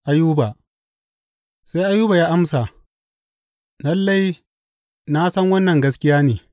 Ayuba Sai Ayuba ya amsa, Lalle, na san wannan gaskiya ne.